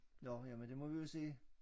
Nåh jamen det må vi jo se